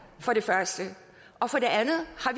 for det første og for det andet har